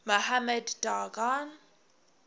mohammed daoud khan